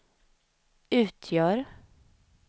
utgör